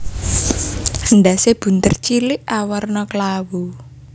Endhasé bunder cilik awarna klawu